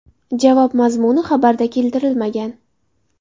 Javob mazmuni xabarda keltirilmagan.